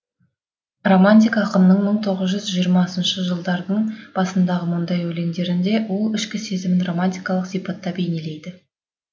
романтик ақынның мың тоғыз жүз жиырмасыншы жылдардың басындағы мұндай өлеңдерінде ол ішкі сезімін романтикалық сипатта бейнелейді